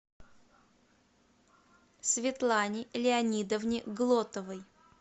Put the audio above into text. светлане леонидовне глотовой